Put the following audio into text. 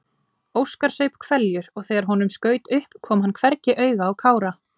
Óskar saup hveljur og þegar honum skaut upp kom hann hvergi auga á Kára.